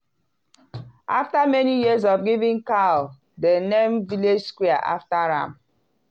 after many years of giving cow dem name village square after am.